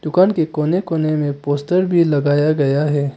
दुकान के कोने कोने में पोस्टर भी लगाया गया है।